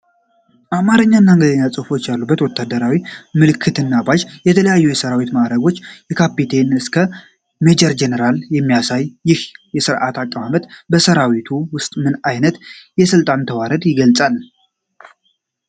አማርኛ እና እንግሊዝኛ ጽሁፎች ያሉት ወታደራዊ ምልክትና ባጅ፣ የተለያዩ የሠራዊት ማዕረጎችን ከካፒቴን እስከ ሜጀር ጄኔራል የሚያሳየው፣ ይህ የሥርዓት አቀማመጥ በሠራዊቱ ውስጥ ምን አይነት የሥልጣን ተዋረድ ይገልጻል?